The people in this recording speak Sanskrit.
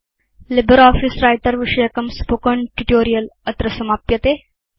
लिब्रियोफिस व्रिटर विषयकं स्पोकेन ट्यूटोरियल् अत्र समाप्यते